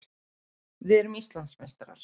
Við erum Íslandsmeistarar!